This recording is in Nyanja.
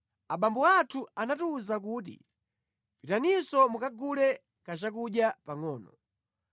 “Abambo athu anatiwuza kuti, ‘Pitaninso mukagule kachakudya pangʼono.’